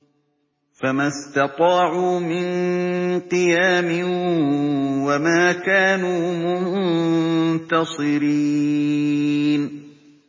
فَمَا اسْتَطَاعُوا مِن قِيَامٍ وَمَا كَانُوا مُنتَصِرِينَ